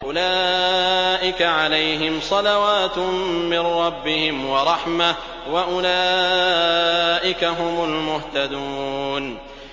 أُولَٰئِكَ عَلَيْهِمْ صَلَوَاتٌ مِّن رَّبِّهِمْ وَرَحْمَةٌ ۖ وَأُولَٰئِكَ هُمُ الْمُهْتَدُونَ